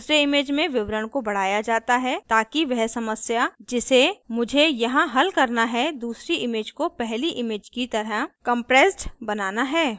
दूसरे image में विवरण को बढ़ाया जाता है ताकि वह समस्या जिसे मुझे यहाँ हल करना है दूसरी image को पहली image की तरह compressed बनाना है